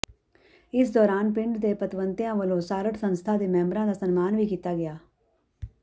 ਇਸ ਦੌਰਾਨ ਪਿੰਡ ਦੇ ਪਤਵੰਤਿਆਂ ਵੱਲੋਂ ਸਾਰਡ ਸੰਸਥਾ ਦੇ ਮੈਂਬਰਾਂ ਦਾ ਸਨਮਾਨ ਵੀ ਕੀਤਾ ਗਿਆ